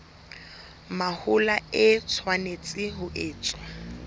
mahola e tshwanetse ho etswa